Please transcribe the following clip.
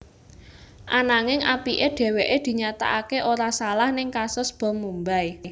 Ananging apiké dheweké dinyatakaké ora salah ning kasus bom Mumbai